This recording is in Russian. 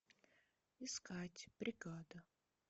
искать бригада